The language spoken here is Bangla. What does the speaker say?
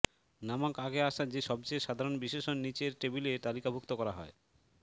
নামক আগে আসা যে সবচেয়ে সাধারণ বিশেষণ নিচের টেবিলে তালিকাভুক্ত করা হয়